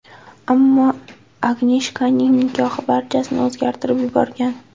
Ammo Agneshkaning nikohi barchasini o‘zgartirib yuborgan.